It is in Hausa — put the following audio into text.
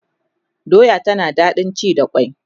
doya tana da daɗin ci da kwai